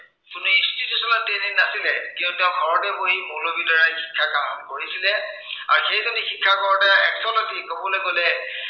কোনো institutional training নাছিলে। কিয়নো তেওঁ ঘৰতে বহী মৌলবীৰ দ্বাৰা শিক্ষা গ্ৰহণ কৰিছিলে। আৰু সেই বাবে শিক্ষা গ্ৰহণ কৰোতে actually কবলৈ গলে